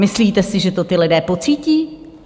Myslíte si, že to ti lidé pocítí?